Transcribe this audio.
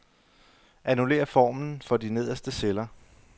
Annullér formlen for de nederste celler.